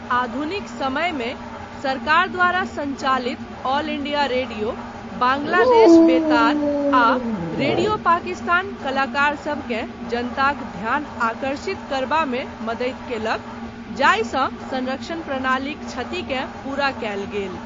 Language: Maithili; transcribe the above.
आधुनिक समयमे, सरकार द्वारा संचालित ऑल इंडिया रेडियो, बांग्लादेश बेतार आ रेडियो पाकिस्तान कलाकार सभकेँ जनताक ध्यान आकर्षित करबामे मदति कयलक, जाहिसँ संरक्षण प्रणालीक क्षतिकेँ पूरा कयल गेल।